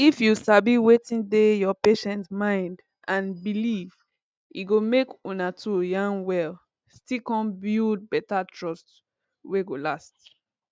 if you sabi wetin dey your patient mind and belief e go make una 2 yarn well still come build better trust wey go last